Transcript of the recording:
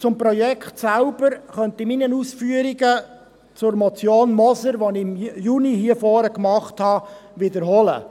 Zum Projekt selbst könnte ich meine Ausführungen zur Motion Moser die ich im Juni hier vorne vorgebracht habe, wiederholen: